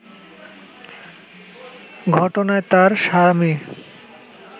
ঘটনায় তার স্বামী